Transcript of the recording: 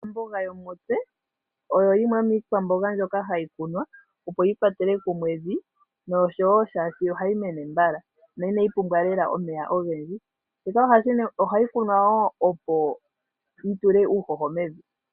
Ombuga oyo yimwe yomiikwamboga mbyoka hayi kunwa, opo yi kwatele kumwe evi nomolwashoka ohayi mene mbala. Ihayi pumbwa omeya ogendji. Ohayi kunwa wo, opo yi tule uuhoho mevi.